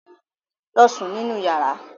Lọ sùn nínú yàrá.